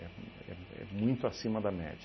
É um é é muito acima da média.